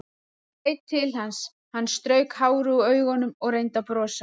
Ég leit til hans, hann strauk hárið úr augunum og reyndi að brosa.